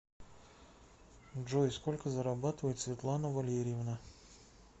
джой сколько зарабатывает светлана валерьевна